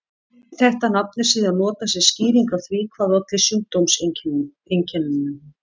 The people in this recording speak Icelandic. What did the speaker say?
Þetta nafn er síðan notað sem skýring á því hvað olli sjúkdómseinkennunum.